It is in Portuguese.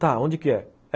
Tá, onde que é?